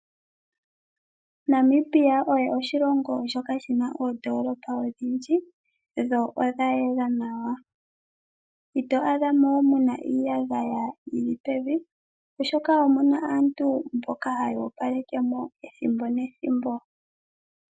Namibia osho oshilongo shoka shi na oondolopa odhindji, dho odha yela nawa. Ito adha mo muna iiyagaya yili pevi, oshoka omuna aantu mboka haya opaleke mo ethimbo nethimbo.